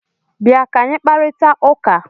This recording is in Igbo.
Bịa ka anyị kparịta ụka!